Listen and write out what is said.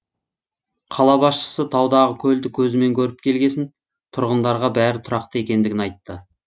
қала басшысы таудағы көлді көзімен көріп келгесін тұрғындарға бәрі тұрақты екендігін айтты